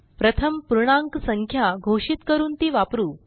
प्रथम पूर्णांक संख्या घोषित करून ती वापरू